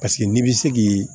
Paseke n'i bɛ se k'i